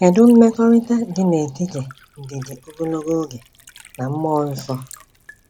Kedu mmekọrịta dị n’etiti ndidi ogologo oge na Mmụọ Nsọ?